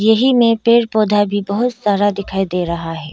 यही में पेड़ पौधा भी दिखाई दे रहा है।